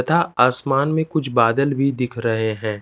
तथा आसमान में कुछ बादल भी दिख रहे हैं।